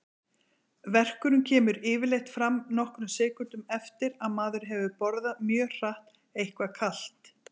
Verkurinn kemur yfirleitt fram nokkrum sekúndum eftir að maður hefur borðað mjög hratt eitthvað kalt.